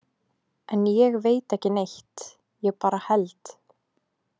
En ég veit ekki neitt, ég bara held.